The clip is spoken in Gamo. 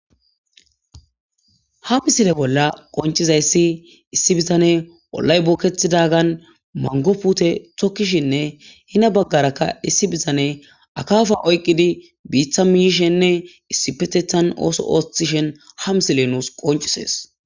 Ha missileza bolla bettizayiss issi bitaney ollay bokketidagan mango tokishenne heni bagara qase issi bitaney biitta mihizayissa qoncciside besses